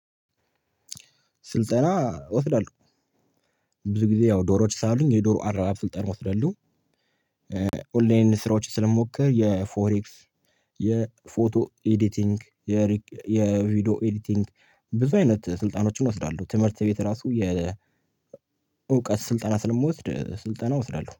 ስልጠና እወስዳለሁ። ብዙ ጊዜ ያው ዶሮዎች ስላሉኝ የዶሮ አረባብ ስልጠና ወስዳለሁ። ኦንላይን ስራዎችን ስለምሞክር የፎሬክስ የፎቶ ኤዲቲንግ የሪክ የቪዲዮ ኤዲቲንግ ብዙ አይነት ስልጠናዎችን እወስዳለሁ። ትምህርት ቤት እራሱ የእውቀት ስልጠና ስለምወስድ ስልጠና እወስዳለሁ